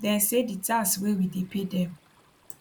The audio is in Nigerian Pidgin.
dem say di tax wey we dey pay dem